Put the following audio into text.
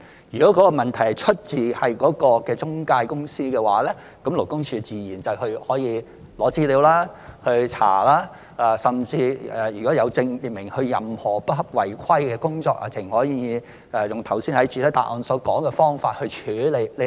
如果問題出自中介公司，勞工處自然會索取資料和調查，如果證明有關公司有任何違規的行為，更可直接用剛才在主體答覆所說的方法處理。